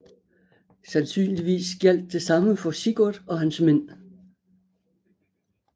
Sandsynligvis gjaldt det samme for Sigurd og hans mænd